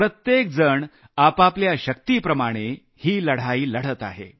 प्रत्येक जण आपापल्या शक्तिप्रमाणे ही लढाई लढत आहे